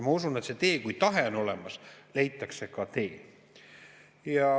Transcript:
Ma usun, et kui tahe on olemas, leitakse ka tee.